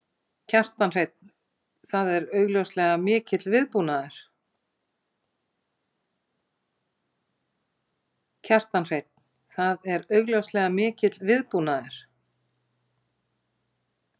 Kjartan Hreinn: Það er augljóslega mikill viðbúnaður?